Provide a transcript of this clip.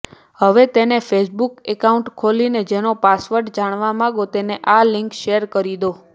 હવે તેને Facebook account ખોલીને જેનો પાસવર્ડ જાણવા માંગો તેને આ લિંક શેર કરી દો